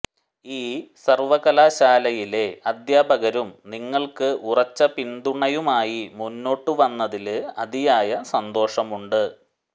ഈ സര്വകലാശാലയിലെ അദ്ധ്യാപകരും നിങ്ങള്ക്ക് ഉറച്ച പിന്തുണയുമായി മുന്നോട്ട് വന്നതില് അതിയായ സന്തോഷമുണ്ട്